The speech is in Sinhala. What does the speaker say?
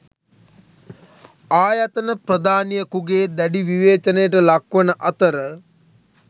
ආයතන ප්‍රධානියකුගේ දැඩි විවේචනයට ලක්වන අතර